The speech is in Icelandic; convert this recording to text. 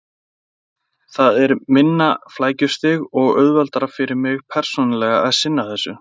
Það er minna flækjustig og auðveldara fyrir mig persónulega að sinna þessu.